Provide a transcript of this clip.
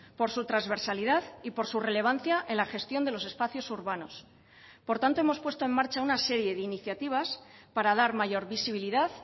por su transversalidad y por su relevancia en la gestión de los espacios urbanos por tanto hemos puesto en marcha una serie de iniciativas para dar mayor visibilidad